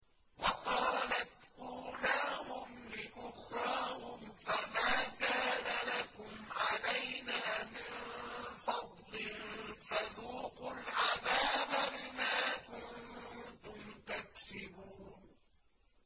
وَقَالَتْ أُولَاهُمْ لِأُخْرَاهُمْ فَمَا كَانَ لَكُمْ عَلَيْنَا مِن فَضْلٍ فَذُوقُوا الْعَذَابَ بِمَا كُنتُمْ تَكْسِبُونَ